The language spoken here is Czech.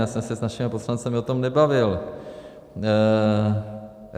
Já jsem se s našimi poslanci o tom nebavil.